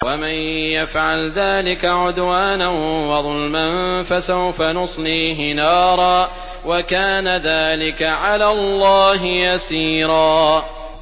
وَمَن يَفْعَلْ ذَٰلِكَ عُدْوَانًا وَظُلْمًا فَسَوْفَ نُصْلِيهِ نَارًا ۚ وَكَانَ ذَٰلِكَ عَلَى اللَّهِ يَسِيرًا